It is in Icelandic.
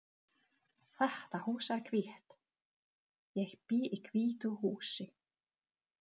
Þetta hús er hvítt. Ég bý í hvítu húsi.